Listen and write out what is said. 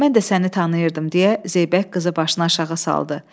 Mən də səni tanıyırdım deyə Zeybək qızı başını aşağı saldı.